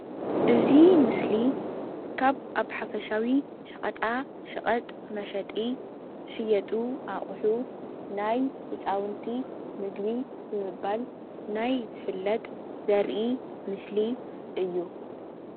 እዚ ምስሊ ካብ ኣብ ሓፈሻዊ ሸቀጣሸቀጥ መሸጢ ዝሽየጡ ኣቁ ሑ ናይ ህፃውንቲ ምግቢ ብምባል ናይ ዝፍለጥ ዘርኢ ምስሊ እዩ፡፡